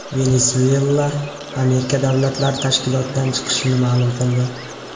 Venesuela Amerika davlatlari tashkilotidan chiqishini ma’lum qildi.